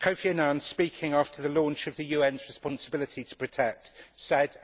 Kofi Annan, speaking after the launch of the UN's 'responsibility to protect', said